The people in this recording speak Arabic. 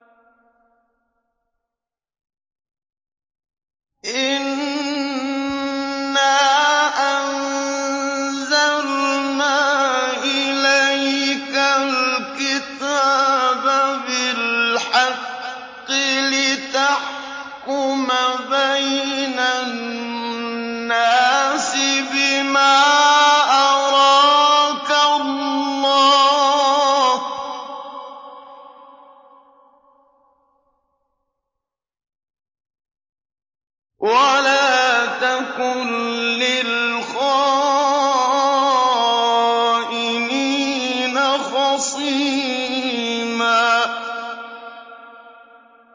إِنَّا أَنزَلْنَا إِلَيْكَ الْكِتَابَ بِالْحَقِّ لِتَحْكُمَ بَيْنَ النَّاسِ بِمَا أَرَاكَ اللَّهُ ۚ وَلَا تَكُن لِّلْخَائِنِينَ خَصِيمًا